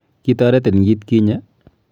Kitaretin kit kinye?